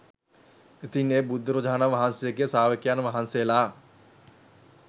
ඉතින් ඒ බුදුරජාණන් වහන්සේගේ ශ්‍රාවකයන් වහන්සේලා